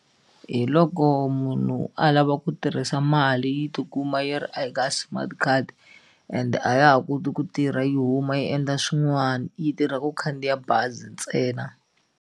Hi loko munhu a lava ku tirhisa mali yi ti kuma yi ri a hi ka smart card and a ya ha koti ku tirha yi huma yi endla swin'wani yi tirha ku khandziya bazi ntsena.